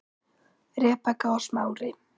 Rebekka og Smári.